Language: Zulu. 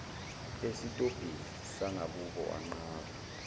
esitobhini sangakubo wanqaba